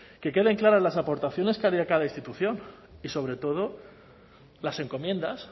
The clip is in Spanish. que queden claras las aportaciones que harían cada institución y sobre todo las encomiendas